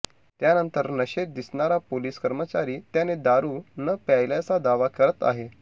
यानंतर नशेत दिसणारा पोलीस कर्मचारी त्याने दारु न प्यायल्याचा दावा करत आहे